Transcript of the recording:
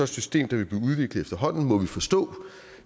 system der vil blive udviklet efterhånden må man forstå